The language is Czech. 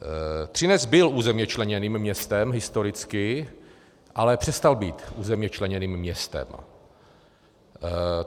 Třinec byl územně členěným městem historicky, ale přestal být územně členěným městem.